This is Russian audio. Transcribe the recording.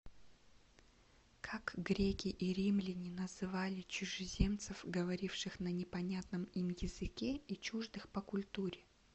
как греки и римляне называли чужеземцев говоривших на непонятном им языке и чуждых по культуре